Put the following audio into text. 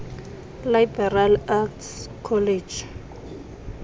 liberal arts college